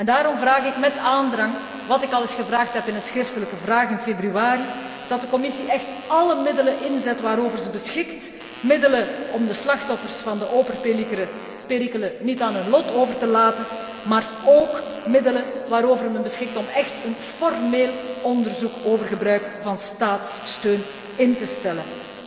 Daarom vraag ik met aandrang, wat ik al eens gevraagd heb in een schriftelijke vraag in februari, dat de Commissie echt alle middelen inzet waarover ze beschikt, middelen om de slachtoffers van de Opel perikelen niet aan hun lot over te laten, maar ook middelen waarover men beschikt om echt een formeel onderzoek over gebruik van staatssteun in te stellen.